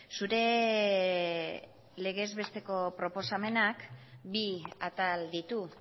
zure legez besteko proposamenak bi atal ditu